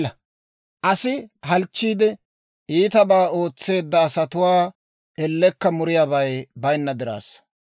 Aassi halchchiide iitabaa ootsiyaa gaasuu, iitabaa ootseedda asatuwaa ellekka muriyaabay baynna diraassa.